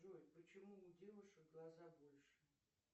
джой почему у девушек глаза больше